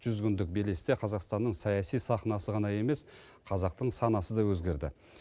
жүз күндік белесте қазақстанның саяси сахнасы ғана емес қазақтың санасы да өзгерді